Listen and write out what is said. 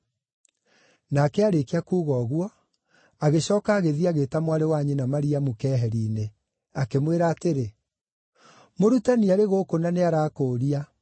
Nake aarĩkia kuuga ũguo, agĩcooka agĩthiĩ agĩĩta mwarĩ wa nyina Mariamu keeheri-inĩ, akĩmwĩra atĩrĩ, “Mũrutani arĩ gũkũ na nĩarakũũria.”